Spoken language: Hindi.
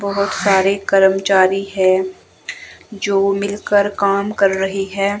बहुत सारे कर्मचारी है जो मिलकर काम कर रही है।